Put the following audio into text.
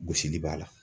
Gosili b'a la